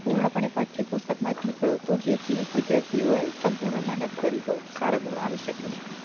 પૂર્ણ પણે પાઠ્યપુસ્તકમા થી નીકળતું જેથી વિદ્યાર્થીઓ એ સંપૂર્ણ મહેનત કરી હોય સારા ગુણ આવી શકે છે